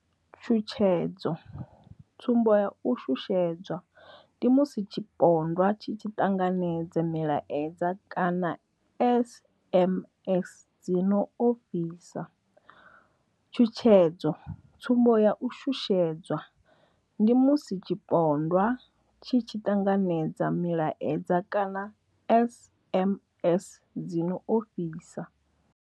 Tshutshedzo tsumbo ya u shushedzwa ndi musi tshipondwa tshi tshi ṱanganedza milaedza kana SMS dzi no ofhisa. Tshutshedzo tsumbo ya u shushedzwa ndi musi tshipondwa tshi tshi ṱanganedza milaedza kana SMS dzi no ofhisa.